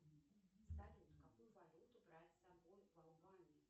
салют какую валюту брать с собой в албанию